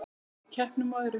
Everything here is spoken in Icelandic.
Bæði í keppnum og öðru.